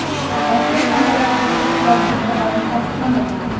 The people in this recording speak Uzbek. Rasmiy manbalar hozircha bu xabarlarni tasdiqlamagan.